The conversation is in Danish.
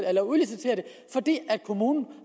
at udlicitere det fordi kommunen